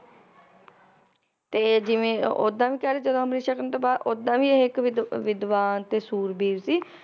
ਤੇ ਜਿਵੇ ਓਦਾਂ ਵੀ ਕਹਿ ਲਓ ਜਦੋ ਅਮ੍ਰਿਤ ਛਕਣ ਤੋਂ ਬਾਅਦ, ਓਦਾਂ ਵੀ ਇਹ ਇਕ ਵਿਦ~ ਵਿਦਵਾਨ ਤੇ ਸੂਰਬੀਰ ਸੀ